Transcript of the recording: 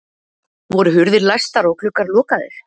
Voru hurðir læstar og gluggar lokaðir?